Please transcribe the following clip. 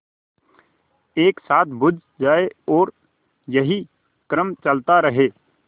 एक साथ बुझ जाएँ और यही क्रम चलता रहे